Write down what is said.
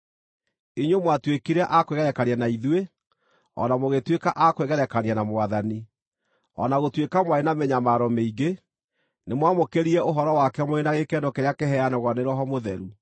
Inyuĩ mwatuĩkire a kwĩgerekania na ithuĩ, o na mũgĩtuĩka a kwĩgerekania na Mwathani, o na gũtuĩka mwarĩ na mĩnyamaro mĩingĩ, nĩmwamũkĩrire ũhoro wake mũrĩ na gĩkeno kĩrĩa kĩheanagwo nĩ Roho Mũtheru.